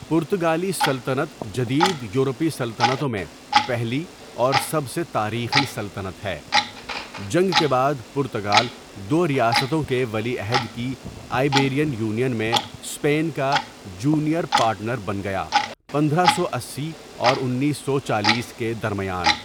پرتگالی سلطنت جدید یورپی سلطنتوں میں پہلی اور سب سے تاریخی سلطنت ہے، جنگ کے بعد پرتگال دو ریاستوں کے ولی عہد کی آئبیرین یونین میں اسپین کا جونیئر پارٹنر بن گیا پندرہ سو اسی اور انیس سو چالیس کے درمیان.